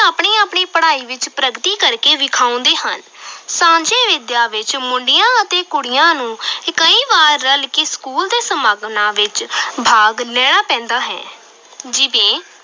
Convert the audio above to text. ਆਪਣੀ-ਆਪਣੀ ਪੜਾਈ ਵਿਚ ਪ੍ਰਗਤੀ ਕਰ ਕੇ ਵਿਖਾਉਂਦੇ ਹਨ ਸਾਂਝੀ ਵਿਦਿਆ ਵਿਚ ਮੁੰਡਿਆਂ ਅਤੇ ਕੁੜੀਆਂ ਨੂੰ ਕਈ ਵਾਰ ਰਲ ਕੇ school ਦੇ ਸਮਾਗਮਾਂ ਵਿਚ ਭਾਗ ਲੈਣਾ ਪੈਂਦਾ ਹੈ ਜਿਵੇਂ